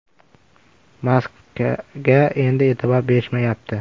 Maskaga endi e’tibor berishmayapti.